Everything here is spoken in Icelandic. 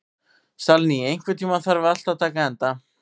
Salný, einhvern tímann þarf allt að taka enda.